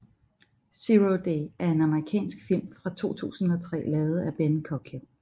Zero Day er en Amerikansk film fra 2003 lavet af Ben Coccio